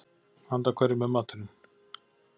Handa hverjum er maturinn?